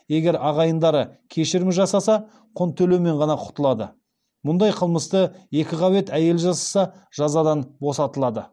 егер ағайындары кешірім жасаса құн төлеумен ғана құтылады мұндай қылмысты екіқабат әйел жасаса жазадан босатылады